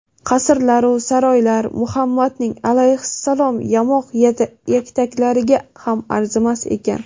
qasrlaru saroylar Muhammadning (alayhissalom) yamoq yaktaklariga ham arzimas ekan.